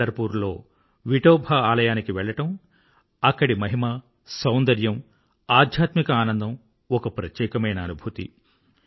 పండర్ poor లో విఠ్ఠోబా ఆలయానికి వెళ్ళడం అక్కడి మహిమ సౌందర్యం ఆధ్యాత్మిక ఆనందం ఒక ప్రత్యేకమైన అనుభూతి